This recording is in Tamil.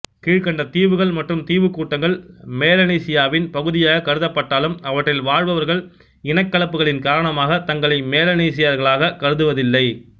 கீழ்கண்ட தீவுகள் மற்றும் தீவுக்கூட்டங்கள் மெலனீசியாவின் பகுதியாக கருதப்பட்டாலும் அவற்றில் வாழ்பவர்கள் இனக்கலப்புகளின் காரணமாக தங்களை மெலனீசியர்களாக கருதுவதில்லை